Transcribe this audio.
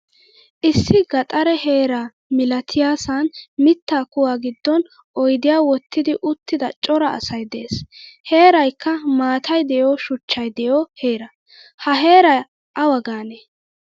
Issi gaxare heeraa milatiyasan mitta kuwa giddon oydiya wottidi uttida cora asay de'ees. Heeraykka maataay deiyo shuchchay deiyo heeraa. Ha heeraa awa gaane?